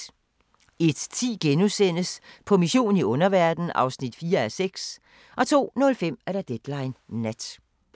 01:10: På mission i underverdenen (4:6)* 02:05: Deadline Nat